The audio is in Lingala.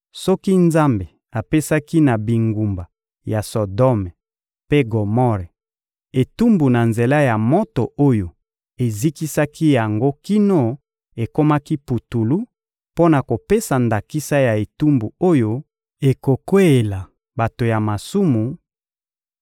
soki Nzambe apesaki na bingumba ya Sodome mpe Gomore etumbu na nzela ya moto oyo ezikisaki yango kino ekomaki putulu mpo na kopesa ndakisa ya etumbu oyo ekokweyela bato ya masumu